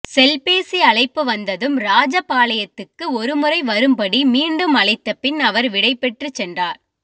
செல்பேசி அழைப்பு வந்ததும் ராஜபாளையத்துக்கு ஒருமுறை வரும்படி மீண்டும் அழைத்தபின் அவர் விடைபெற்றுச்சென்றார்